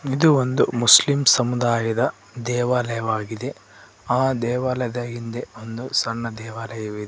ಇದು ಒಂದು ಮುಸ್ಲಿಮ್ ಸಮುದಾಯದ ದೇವಾಲಯವಾಗಿದೆ ಆ ದೇವಾಲಯದ ಹಿಂದೆ ಒಂದು ಸಣ್ಣ ದೇವಾಲಯವಿದೆ.